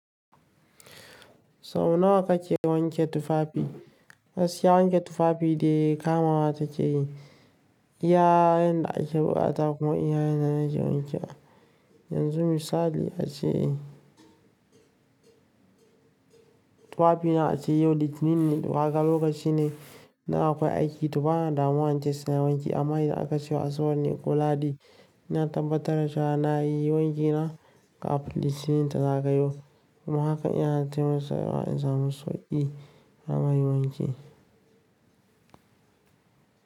Sau nawa kake wanke tufafi? Gaskiya wanke tufafi dai kamawa take yi. Iya yanda ake bukata kuma iya yanda nake wanke. Yanzu misali ace, tufafina ace yau litinin ne, waka lokaci ne naga akwai aiki tufana da maha'in ces na wanke amma yadda aka cewa asabar ne kula di, na tabbatar da cewa na yi wankina kafin litinin ta zagayo. Kuma haka iya na taimasa in samu sauki na ma yi wanki.